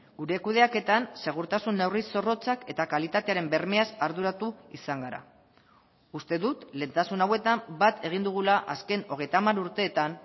gure kudeaketan segurtasun neurri zorrotzak eta kalitatearen bermeaz arduratu izan gara uste dut lehentasun hauetan bat egin dugula azken hogeita hamar urteetan